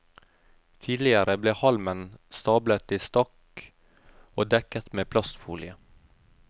Tidligere ble halmen stablet i stakk og dekket med plastfolie.